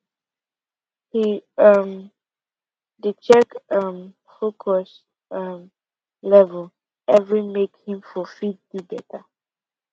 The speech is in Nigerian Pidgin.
he um dey check him um focus um level every make him for fit do better